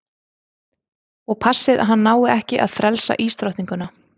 Og passið að hann nái ekki að frelsa ísdrottninguna.